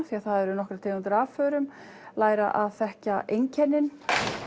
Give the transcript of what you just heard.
því það eru nokkrar tegundir af förum læra að þekkja einkennin